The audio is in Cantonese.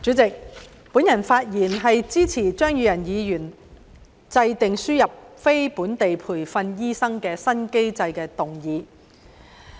主席，我發言支持張宇人議員"制訂輸入非本地培訓醫生的新機制"的議案。